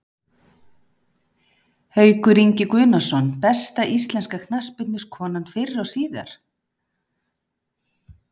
Haukur Ingi Guðnason Besta íslenska knattspyrnukonan fyrr og síðar?